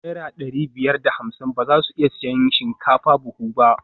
Naira dari biyar da hamsin ba za su iya siyan shinkafa buhu ba